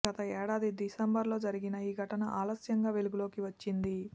గత ఏడాది డిసెంబరులో జరిగిన ఈ ఘటన ఆలస్యంగా వెలుగులోకి వచ్చింది